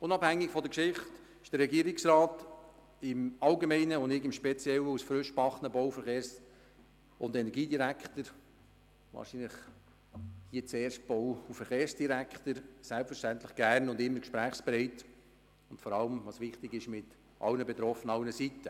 Unabhängig von der Geschichte ist der Regierungsrat im Allgemeinen und ich als frisch gebackener Bau-, Verkehrs- und Energiedirektor im Speziellen gern und immer gesprächsbereit und dies – was wichtig ist – mit allen Betroffenen und allen Seiten.